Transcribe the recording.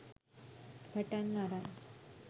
පටන් අරන්.